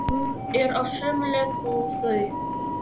Hún er á sömu leið og þau.